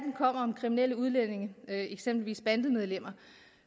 om kriminelle udlændinge eksempelvis bandemedlemmer